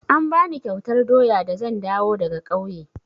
An bani kyautar doya da zan dawo daga ƙauye.